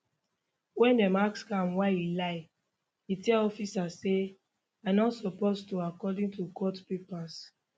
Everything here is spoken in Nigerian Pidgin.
ween dem ask am why e lie e tell officers say i no suppose to according to court papers